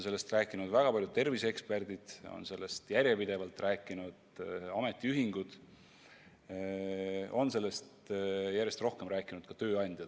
Sellest on rääkinud väga paljud terviseeksperdid, sellest on järjepidevalt rääkinud ametiühingud, sellest on järjest rohkem rääkinud ka tööandjad.